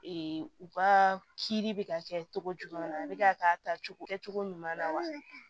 u ka kiiri bɛ ka kɛ cogo jumɛn na a bɛ ka k'a ta cogo kɛcogo ɲuman na wa